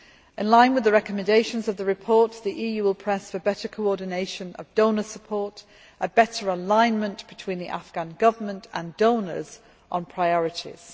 In line with the recommendations of the report, the EU will press for better coordination of donor support, and a better alignment between the Afghan Government and donors on priorities.